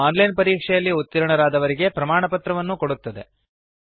ಹಾಗೂ online ಪರೀಕ್ಷೆಯಲ್ಲಿ ಉತ್ತೀರ್ಣರಾದವರಿಗೆ ಪ್ರಮಾಣಪತ್ರವನ್ನು ಕೊಡುತ್ತದೆ